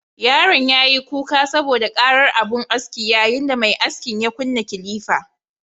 Yaron yayi kuka saboda ƙarar abun askin, yayin da mai askin ya kunna kilifa